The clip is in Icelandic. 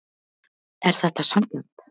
Er þetta sanngjarnt